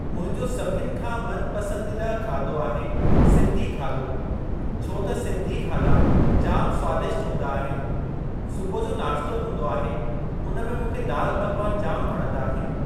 मुंहिंजो सभिनि खां मन पसंदीदा खाधो आहे सिंधी खाधो, छो त सिंधी खाधा जाम स्वादिष्ट हूंदा आहिनि। सुबुह जो नाश्तो हूंदो आहे हुन में मूंखे दाल पकवान जाम वणंदा आहिनि।